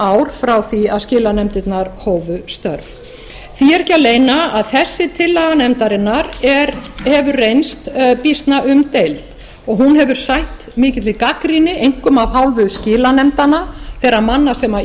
ár þar til skilanefndirnar hófu störf því er ekki að leyna að þessi tillaga nefndarinnar hefur reynst býsna umdeild og hún hefur sætt mikilli gagnrýni einkum af hálfu skilanefndanna þeirra manna sem